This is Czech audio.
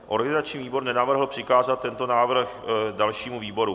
Organizační výbor nenavrhl přikázat tento výbor dalšímu výboru.